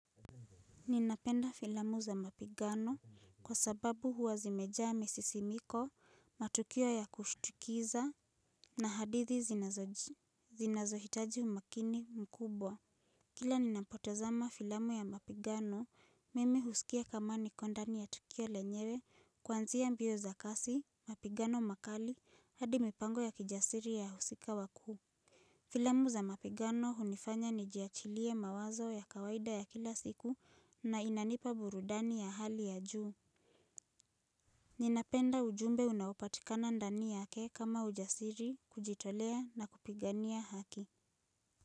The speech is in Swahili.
Ninapenda filamu za mapigano kwa sababu huwa zimejaa misisimiko, matukio ya kushtukiza na hadithi zinazohitaji umakini mkubwa. Kila ninapotezama filamu ya mapigano, mimi husikia kama niko ndani ya tukio lenyewe, kuanzia mbio za kasi, mapigano makali, hadi mipango ya kijasiri ya husika wakuu. Filamu za mapigano hunifanya nijiachilie mawazo ya kawaida ya kila siku na inanipa burudani ya hali ya juu. Ninapenda ujumbe unaopatikana ndani yake kama ujasiri, kujitolea na kupigania haki.